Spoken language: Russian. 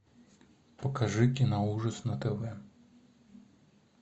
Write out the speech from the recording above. покажи киноужас на тв